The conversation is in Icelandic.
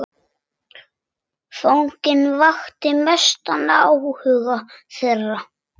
Fanginn vakti mestan áhuga þeirra.